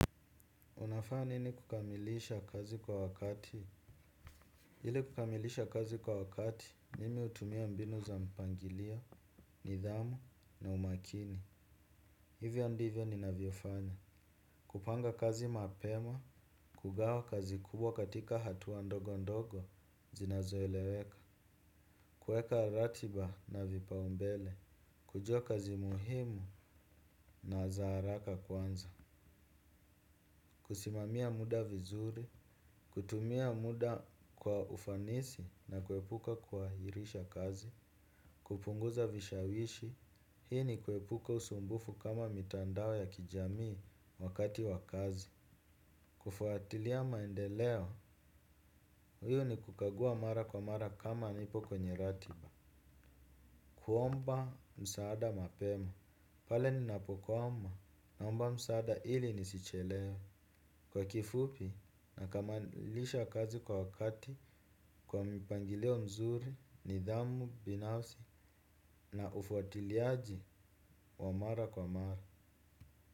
Unafanya nini kukamilisha kazi kwa wakati ili kukamilisha kazi kwa wakati, nimi hutumia mbinu za mpangilio, nidhamu na umakini. Hivyo ndivyo ninavyofanya. Kupanga kazi mapema, kugawa kazi kubwa katika hatua ndogo ndogo, zinazoeleweka. Kueka ratiba na vipaombele. Kujua kazi muhimu na za haraka kwanza. Kusimamia muda vizuri. Kutumia muda kwa ufanisi na kuepuka kuahirisha kazi kupunguza vishawishi, hii ni kuepuka usumbufu kama mitandao ya kijamii wakati wa kazi. Kufuatilia maendeleo, huyu ni kukagua mara kwa mara kama nipo kwenye ratiba huomba msaada mapema, pale ninapokwama, naomba msaada ili nisichelewe. Kwa kifupi nakamilisha kazi kwa wakati kwa mpangilio mzuri, nidhamu, binafsi na ufuatiliaji wa mara kwa mara.